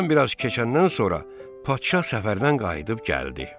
Aradan bir az keçəndən sonra Padşah səfərdən qayıdıb gəldi.